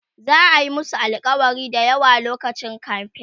za'a Yi musu alkawali da yawa lokacin kamfen